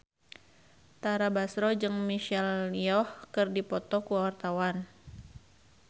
Tara Basro jeung Michelle Yeoh keur dipoto ku wartawan